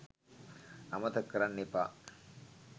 අමතක කරන්න එපා.